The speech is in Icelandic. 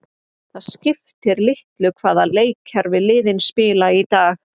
Það skiptir litlu hvaða leikkerfi liðin spila í dag.